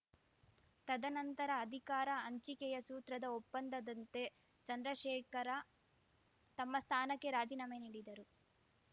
ತದನಂತರ ಅಧಿಕಾರ ಹಂಚಿಕೆಯ ಸೂತ್ರದ ಒಪ್ಪಂದದಂತೆ ಚಂದ್ರಶೇಖರ ತಮ್ಮ ಸ್ಥಾನಕ್ಕೆ ರಾಜಿನಾಮೆ ನೀಡಿದ್ದರು